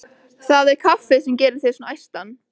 Það er kaffið sem gerir þig svona æstan.